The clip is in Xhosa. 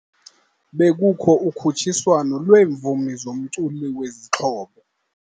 Bekukho ukhutshiswano lweemvumi zomculo wezixhobo.